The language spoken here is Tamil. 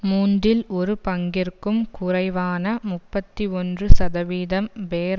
மூன்றில் ஒரு பங்கிற்கும் குறைவான முப்பத்தி ஒன்று சதவீதம் பேர்